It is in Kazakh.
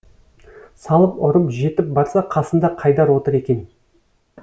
салып ұрып жетіп барса қасында қайдар отыр екен